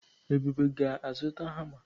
Ebube ga-azụta hama.